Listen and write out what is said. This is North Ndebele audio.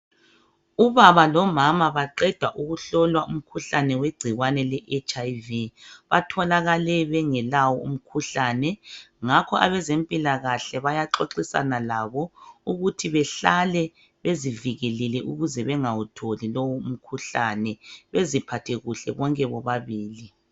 Ubaba lomama baqeda ukuhlolwa igcikwane lomkhuhlane omkhulu, owengculaza. Ngesilungu sithi yiHIV / AlDS. Bobabili batholakale bengalawo. Abezempilakahle sebexoxisana labo bobabili. Bebakhuthaza ngokuqakatheka kokuqhubeka bezigcinile. Ukuze bavikeleke, bangawubambi.